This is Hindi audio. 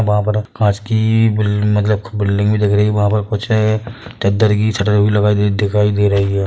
वहाँ पर कांच की बिल्-मतलक बिल्डिंग भी दिख री है वहा पर कुछ चद्दर की छटे लगाई हुई दिखाई दे रही है।